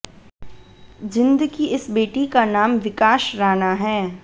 जींद की इस बेटी का नाम विकाश राणा है